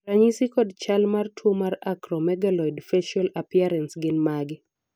ranyisi kod chal mar tuo mar Acromegaloid facial appearance gin mage?